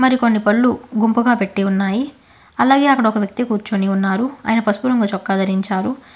మరి కొన్ని పళ్ళు గుంపుగా పెట్టి ఉన్నాయి అలాగే అక్కడ ఒక వ్యక్తి కూర్చొని ఉన్నారు ఆయన పసుపు రంగు చొక్కా ధరించాడు.